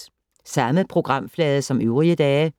Samme programflade som øvrige dage